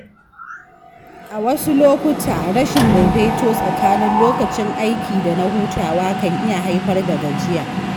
A wasu lokuta, rashin daidaito tsakanin lokacin aiki da na hutawa kan iya haifar da gajiya.